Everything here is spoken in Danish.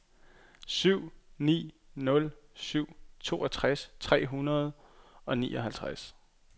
syv ni nul syv toogtres tre hundrede og nioghalvtreds